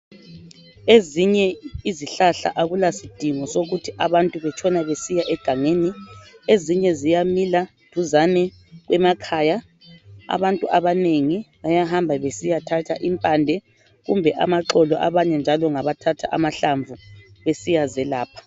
Ezinye izihlahla akulasidingo sokuthi abantu bahambe egangeni ezinye ziyamila duzane emakhaya , abanengi bayahamba beyethatha impande kumbe amaxolo besiya zelapha .